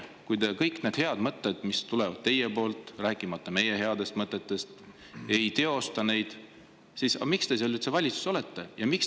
Kui te kõiki neid häid mõtteid, mis tulevad teie poolt, rääkimata meie headest mõtetest, ei teosta, siis miks te üldse valitsuses olete?